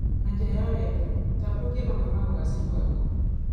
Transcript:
Na njĩra ya wendo tambũrũkia mamwe ma ũgaciru waku